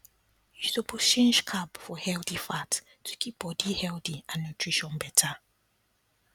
you suppose change carb for healthy fat to keep body healthy and nutrition better